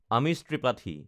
আমিষ ত্ৰিপাঠী